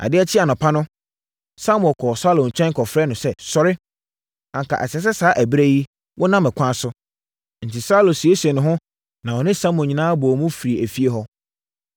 Adeɛ kyee anɔpa no, Samuel kɔɔ Saulo nkyɛn kɔfrɛɛ no sɛ, “Sɔre! Anka ɛsɛ sɛ saa ɛberɛ yi wonam ɛkwan so.” Enti, Saulo siesiee ne ho na ɔne Samuel nyinaa bɔɔ mu firii efie hɔ.